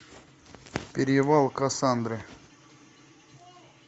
перевал кассандры